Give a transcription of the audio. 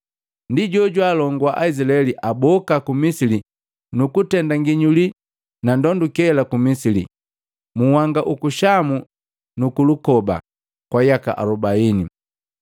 Ndi jojwaalongua Aizilaeli aboka ku Misili nukutenda nginyuli na ndonduke ku Misili, mu nhanga uku Shamu nuku lukoba, kwa yaka alubaini.